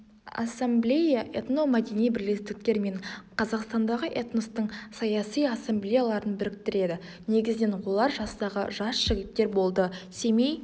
ассамблея этномәдени бірлестіктер мен қазақстандағы этностың саяси ассамблеяларын біріктіреді негізінен олар жастағы жас жігіттер болды семей